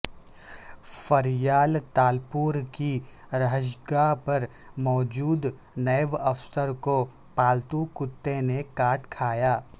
فریال تالپور کی رہائشگاہ پر موجود نیب افسر کو پالتو کتے نے کا ٹ کھایا